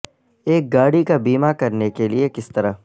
ایک گاڑی کا بیمہ کرنے کے لئے کس طرح